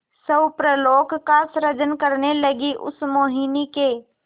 स्वप्नलोक का सृजन करने लगीउस मोहिनी के